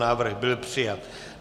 Návrh byl přijat.